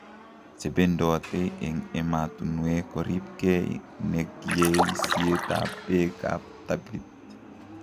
Chebendote eng' ematunwek koriib kee neg' yeiseet ab beek ab tapit